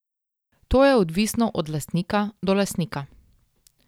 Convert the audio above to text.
To je odvisno od lastnika do lastnika.